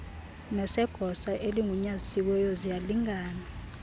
nesegosa eligunyazisiweyo ziyalingana